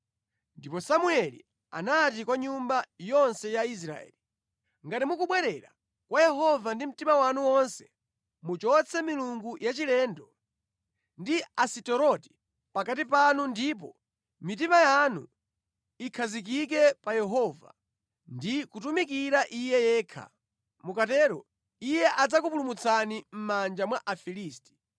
Ndipo Samueli anati kwa nyumba yonse ya Israeli, “Ngati mukubwerera kwa Yehova ndi mtima wanu wonse, muchotse milungu yachilendo ndi Asiteroti pakati panu ndipo mitima yanu ikhazikike pa Yehova ndi kutumikira Iye yekha. Mukatero Iye adzakupulumutsani mʼmanja mwa Afilisti.”